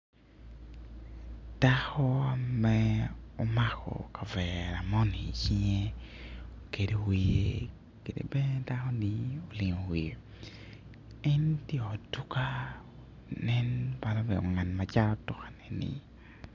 Dako me omako kavere moni i cinge okedo wiye kede bene dako ni olingo wiye en tye i ot duka nen bala obedo ngat macato duka ni